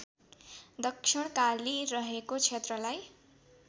दक्षिणकाली रहेको क्षेत्रलाई